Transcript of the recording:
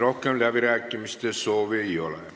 Rohkem läbirääkimiste soovi ei ole.